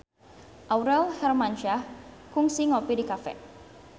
Aurel Hermansyah kungsi ngopi di cafe